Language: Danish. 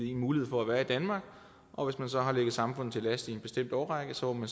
en mulighed for at være i danmark og hvis man så har ligget samfundet til last i en bestemt årrække så må